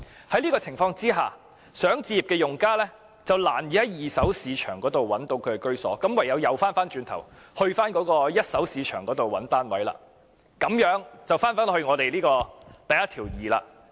在這種情況下，希望置業的用家便難以在二手市場覓得居所，唯有返回一手市場尋覓單位，這樣就回到第12條的問題。